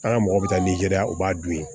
An ka mɔgɔ bɛ taa nizeriya u b'a dun